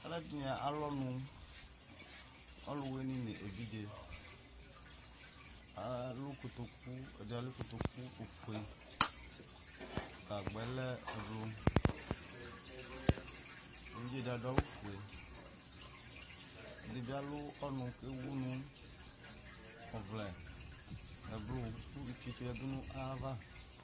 Alʋɛdìní alʋ ɔnʋ Ɔlʋwìní nʋ evidze Ɛdí alʋ kotoku ɔfʋe, gagba yɛ lɛ ɛblu Evidze si adu awu ɔfʋe Ɛdí bi alʋ ɔnʋ kʋ ewu nʋ ɔvlɛ ɛblʋ kʋ ʋfietso yadu nʋ ava